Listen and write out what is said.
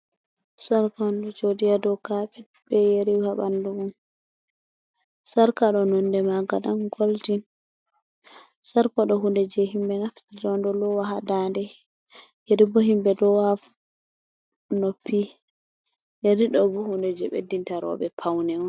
Sarka on ɗo jodi ha dow kapet be yeri ha ɓandu on sarka ɗo nonɗe maga dan goldin sarka do hunde je himbe nafta do lowa ha danɗe yeri bo himɓe do ha noppi yeri ɗo ɓo hunɗe je ɓeddinta roɓe paune on.